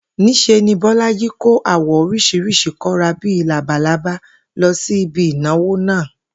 Ní s̩e ni Bó̩lájí kó àwò̩ orís̩irís̩i kó̩ra bí i labalábá lo̩ sí ibi ìnáwó náà